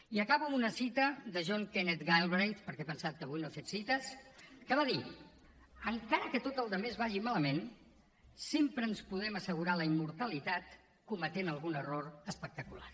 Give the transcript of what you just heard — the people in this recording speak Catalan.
i acabo amb una cita de john kenneth galbraith perquè he pensat que avui no he fet cites que va dir encara que tota la resta vagi malament sempre ens podem assegurar la immortalitat cometent algun error espectacular